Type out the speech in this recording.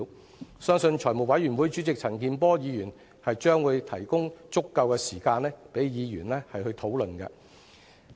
我相信財務委員會主席陳健波議員會提供足夠的時間，讓議員討論。